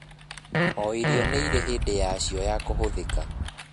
O irio nĩirĩ hĩndĩ yacio ya kũhũthĩka